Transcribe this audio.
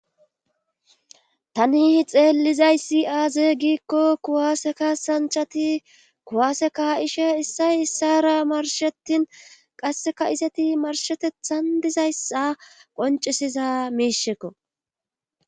Tani xeelizayssi aaze giikko kuwaaseka sanchati kuwaaseka ishe issay issara marshetin qasseka iseti marshetethan dizayssa qoncisiza miishekko.